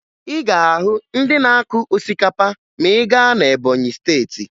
Ị ga-ahụ ndị na-akụ osikapa ma ị gaa na Ebọnyị Steeti